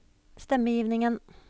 stemmegivningen